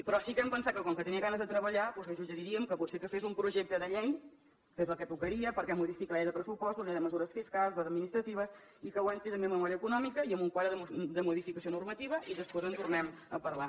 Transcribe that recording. però sí que hem pensat que com que tenia ganes de treballar doncs li suggeriríem que potser que fes un projecte de llei que és el que tocaria perquè modifica la llei de pressupostos la llei de mesures fiscals i administratives i que ho entri també amb memòria econòmica i amb un quadre de modificació normativa i després en tornem a parlar